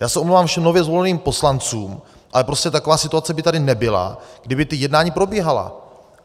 Já se omlouvám všem nově zvoleným poslancům, ale prostě taková situace by tady nebyla, kdyby ta jednání probíhala.